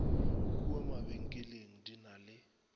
kua mabenkeleng di ka le